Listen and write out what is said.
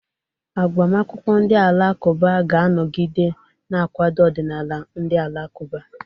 Agbamakwụkwọ ndị Alakụba ga-anọgide na-akwado ọdịnala ndị Alakụba..